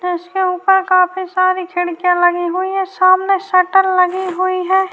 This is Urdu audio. اس کے اوپر کافی ساری کھڑکیاں لگی ہوئی ہیں -سامنے شٹر لگی ہوئی ہے-